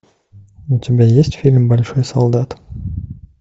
у тебя есть фильм большой солдат